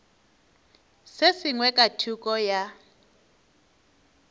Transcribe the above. se sengwe ka thoko ya